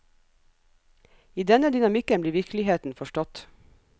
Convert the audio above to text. I denne dynamikken blir virkeligheten forstått.